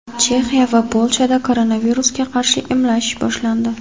Chexiya va Polshada koronavirusga qarshi emlash boshlandi.